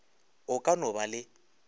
o ka no ba le